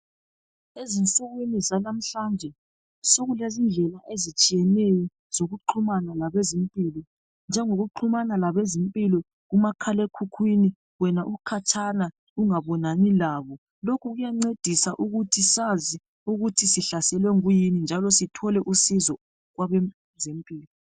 Ezinsukwini zanamhlanje sokulezindlela ezitshiyeneyo zokuxhumana labezempilo njengokuxhumana labezempilo umakhalekhukhwini wena ukhatshana ungabonani labo. Lokhu kuyancedisa sazi ukuthi sihlaselwe nguyuni njalo sithole usizo kwabezempilo.